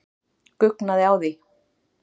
Guggnaði á því.